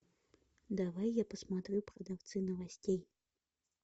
давай я посмотрю продавцы новостей